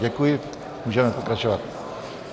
Děkuji, můžeme pokračovat.